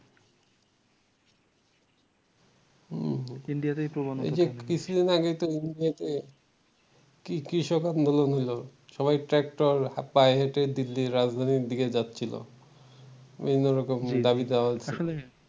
এই যে কিছুদিন আগে একটা news কৃষক আন্দোলন হইল সবাই ট্রাক্টর পায়ে হেঁটে দিল্লির রাজধানীর দিকে যাচ্ছিল বিভিন্ন রকম দাবি দাবা